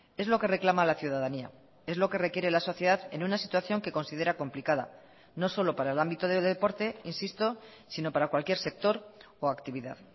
es lo que reclama la ciudadanía es lo que requiere la sociedad en una situación que considera complicada no solo para el ámbito de deporte insisto sino para cualquier sector o actividad